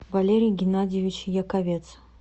валерий геннадьевич яковец